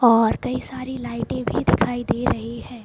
और कई सारी लाइटे भी दिखाई दे रही हैं ।